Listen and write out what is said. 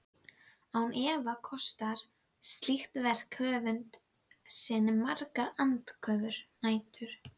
Án efa kostar slíkt verk höfund sinn margar andvökunætur.